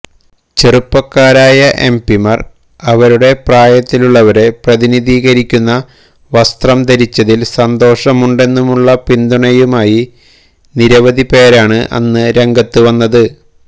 ചെറുപ്പക്കാരായ എംപിമാർ അവരുടെ പ്രായത്തിലുളളവരെ പ്രതിനിധീരിക്കുന്ന വസ്ത്രം ധരിച്ചതിൽ സന്തോഷമുണ്ടെന്നുമുള്ള പിന്തുണയുമായി നിരവധിപ്പേരാണ് അന്ന് രംഗത്ത് വന്നത്